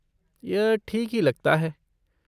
यह ठीक ही लगता है।